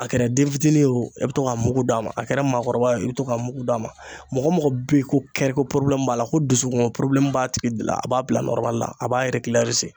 A kɛra den fitini ye wo e bi to ka mugu d'a ma a kɛra maakɔrɔba i be to ka mugu d'a ma mɔgɔ mɔgɔ be yen ko kɛriko porobilɛmu b'a la ko dusukun porobilɛmu b'a tigi de la a b'a bila nɔrɔmalila a b'a eregilarize